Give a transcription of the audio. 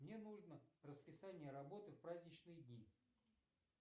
мне нужно расписание работы в праздничные дни